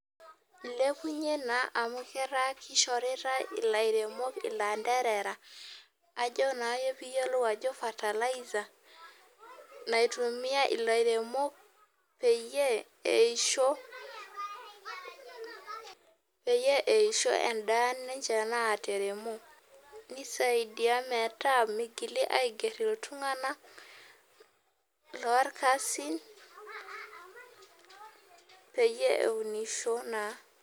Ilepunye na amu ata kishoritae ilairemokilanderera ajo na piyiolou ajo fertiliser naitumia ilairemok peyie eisho endaa ninche nataremo nisaidia metaa migili aiger ltunganak lorkasin peyie eunisho taa.